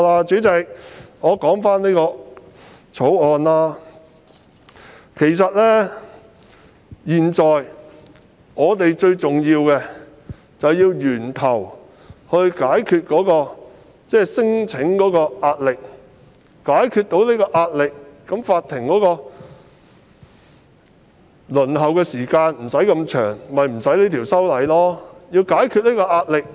主席，回到《條例草案》本身，現時最重要的其實是從源頭解決聲請個案造成的壓力，若能如此，法庭的輪候時間便可縮短，當局便無須修訂法例。